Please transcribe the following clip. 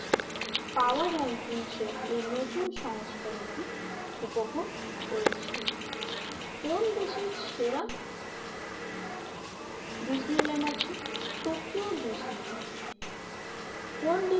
পাওয়ার রাঙ্কিংসের এই নতুন সংস্করণটি উপভোগ করেছেন। কোন দেশের সেরা ডিজনিল্যান্ড আছে, টোকিও ডিজনিল্যান্ড কোন ডিজনি